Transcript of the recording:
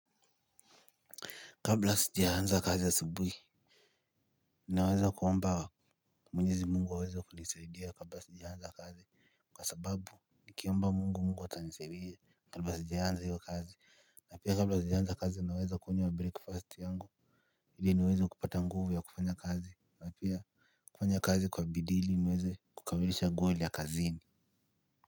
Kabla sijaanza kazi asubuhi ninaweza kuomba Mwenyezi Mungu aweze kunisaidia kabla sijaanza kazi kwa sababu nikiomba mungu, mungu atanisaidia kabla sijaanza hiyo kazi. Na pia kabla sijaanza kazi ninaweza kunywa breakfast yangu ili niweze kupata nguvu ya kufanya kazi na pia kufanya kazi kwa bidii ili niweze kukamilisha goli ya kazini.